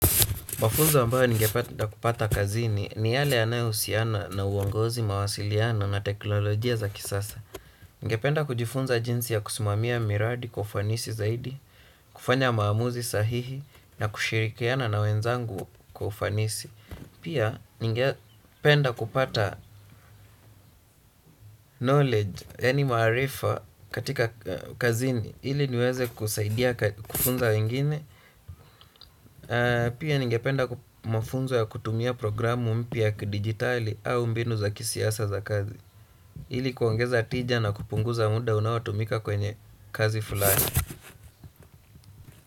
Mafunzo ambayo ningepata kupata kazini ni yale yanayohusiana na uongozi mawasiliano na teknolojia za kisasa. Ningependa kujifunza jinsi ya kusimamia miradi kwa ufanisi zaidi, kufanya maamuzi sahihi na kushirikiana na wenzangu kwa ufanisi. Pia ningependa kupata knowledge, yaani maarifa katika kazini, ili niweze kusaidia kufunza wengine. Pia ningependa mafunzo ya kutumia programu mpya ya kidigitali au mbinu za kisiasa za kazi ili kuongeza tija na kupunguza muda unaotumika kwenye kazi fulani.